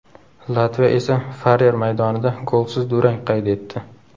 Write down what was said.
Latviya esa Farer maydonida golsiz durang qayd etdi.